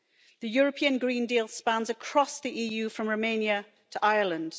The European Green Deal spans across the EU from Romania to Ireland.